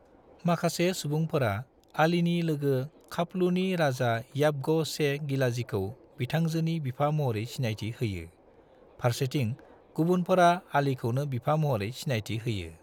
माखासे सुबुंफोरा अलीनि लोगो खापलूनि राजा याबगो शे गिलाज़ीखौ बिथांजोनि बिफा महरै सिनायथि होयो, फारसेथिं गुबुनफोरा अलीखौनो बिफा महरै सिनायथि होयो।